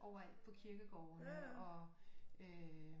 Overalt på kirkegårdene og øh